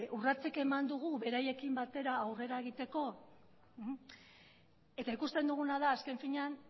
urratsik eman dugu beraiekin batera aurrera egiteko eta ikusten duguna da azken finean